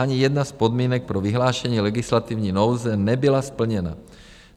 Ani jedna z podmínek pro vyhlášení legislativní nouze nebyla splněna.